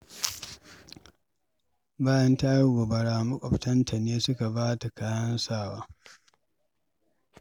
Bayan ta yi gobara, maƙwabtanta ne suka ba ta kayan sawa.